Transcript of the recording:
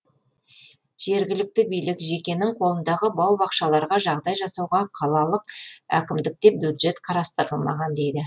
жергілікті билік жекенің қолындағы бау бақшаларға жағдай жасауға қалалық әкімдікте бюджет қарастырылмаған дейді